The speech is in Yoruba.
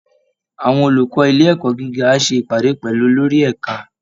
Àwọn olùkọ́ ilé ẹ̀kọ́ gíga á ṣe ìpàdé pẹ̀lú olórí ẹ̀ka